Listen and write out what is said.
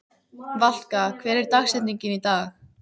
Valka, hver er dagsetningin í dag?